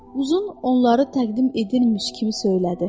Uzun onları təqdim edilirmiş kimi söylədi: